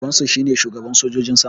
Babansu shine shugaban sojojin sama